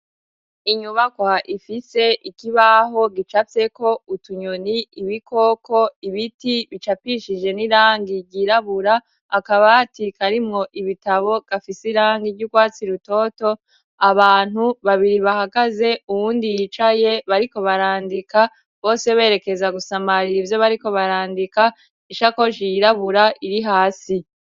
Inyubakwa ifise ikibaho gicapfyeko utunyoni ibikoko ibiti bicapishije n'irangi ryirabura akabati karimwo ibitabo gafis' irangi ry'ugwatsi rutoto, abantu babiri bahagaze uwundi yicaye bariko barandika bose berekeza gusamarira ivyo bariko barandika, ishakoshi yirabura iri hasi